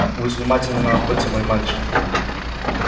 будь внимателен на охоте мой мальчик